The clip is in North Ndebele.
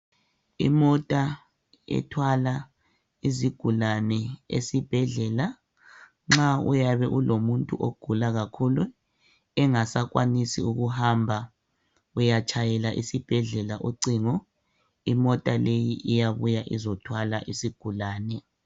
Imota ethwala izigulane esibhedlela nxa uyabe ulomuntu ogula kakhulu engasakwanisi ukuhamba uyatshayela esibhedlela ucingo imota leyi iyabuya izothwala isigulane.